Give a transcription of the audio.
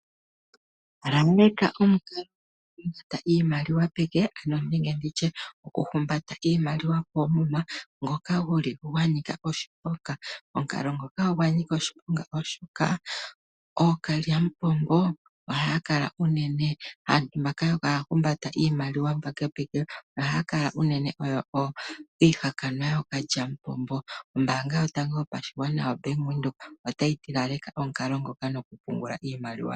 Laleka omukalo gokufuta iimaliwa peke nenge okuhumbata iimaliwa koomuma ngoka gwa nika oshiponga. Omukalo ngoka ogwa nika oshiponga, oshoka aantu mbaka haya humbata iimaliwa peke ohaya kala unene oyo iihakanwa yookalyamupombo. Ombaanga yotango yopashigwana otayi ti laleka omukalo ngoka.